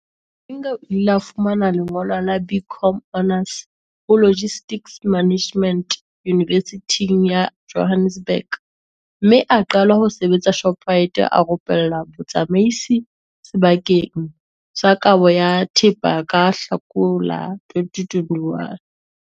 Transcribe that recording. Malinga o ile a fumana lengolo la BCom Honours ho Logistics Management Yunivesithing ya Johannesburg mme a qala ho sebetsa Shoprite a rupellwa botsamaisi sebakeng sa kabo ya thepa ka Hlakola 2021.